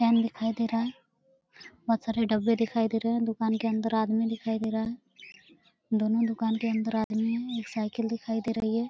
Fan दिखाई दे रहा है। बहुत सारे डब्बे दिखाई दे रहे हैं। दुकान के अंदर आदमी दिखाई दे रहा है। दोनों दुकान के अंदर आदमी एक साइकिल दिखाई दे रही है।